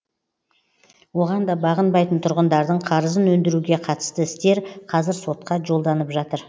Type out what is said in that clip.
оған да бағынбайтын тұрғындардың қарызын өндіруге қатысты істер қазір сотқа жолданып жатыр